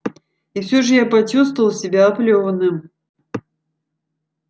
и все же я почувствовал себя оплёванным